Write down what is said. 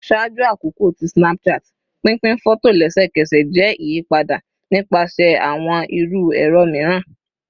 Ṣaaju akoko ti Snapchat, pinpin fọto lẹsẹkẹsẹ jẹ iyipada nipasẹ awọn iru ẹrọ miiran